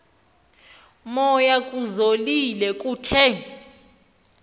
moya kuzolile kuthe